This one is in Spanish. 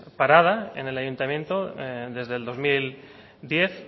parada en el ayuntamiento desde el dos mil diez